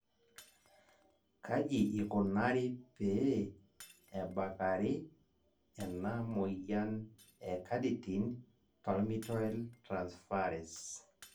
Kaji ikonare pee ebakare ena moyian e carnitine palmitoyltransferase